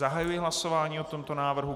Zahajuji hlasování o tomto návrhu.